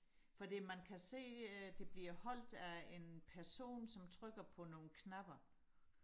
fordi man kan se at det bliver holdt af en person som trykker på nogle knapper